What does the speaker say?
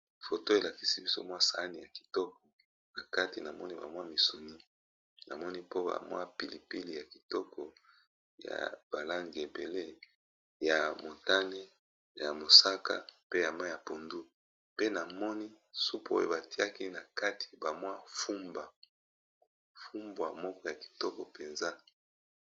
Foto oyo elakisi biso sahani ya kitoko na kati namoni misuni, pilipili ya ba langi ya motane, mosaka na mayi ya pondu pe namoni na kati ya supu batiyaki fumbwa ya kitoko.